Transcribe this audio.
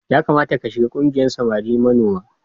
Ya kamata ka shigar ƙungiyar samari manoma.